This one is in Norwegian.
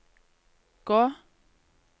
gå